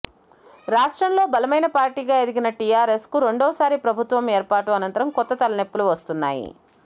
రాష్ట్రంలో బలమైన పార్టీగా ఎదిగిన టీఆర్ఎస్కు రెండవసారి ప్రభుత్వం ఏర్పాటు అనంతరం కొత్త తలనొప్పులు వస్తున్నాయి